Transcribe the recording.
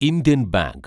Indian bank